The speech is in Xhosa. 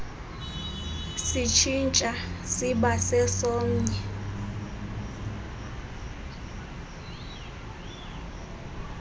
sitshintsha siba sesomnye